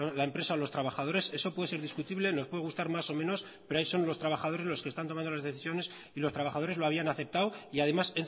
la empresa o los trabajadores eso puede ser discutible nos puede gustar más o menos pero ahí son los trabajadores los que están tomando las decisiones y los trabajadores lo habían aceptado y además